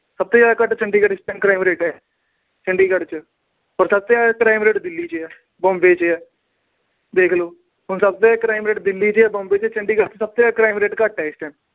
ਸਭ ਤੋਂ ਜਿਆਦਾ ਘੱਟ ਚੰਡੀਗੜ੍ਹ ਚ ਇਸ time crime rate ਚੰਡੀਗੜ੍ਹ ਚ। ਔਰ ਸਭ ਤੋਂ ਜਿਆਦਾ crime rate ਦਿੱਲੀ ਚ ਆ, ਬੰਬੇ ਚ ਆ, ਦੇਖ ਲੋ। ਹੁਣ ਸਭ ਤੋਂ ਜਿਆਦਾ crime rate ਦਿੱਲੀ ਚ ਆ, ਬੰਬੇ ਚ ਆ। ਚੰਡੀਗੜ੍ਹ ਚ ਸਭ ਤੋਂ ਜਿਆਦਾ crime rate ਘੱਟ ਏ।